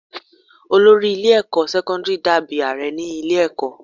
Olórí ilé ẹ̀kọ́ sẹ́kọ́ńdírì dà bí Ààrẹ ní ilé ẹ̀kọ́.